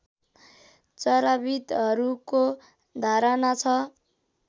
चराविद्हरूको धारणा छ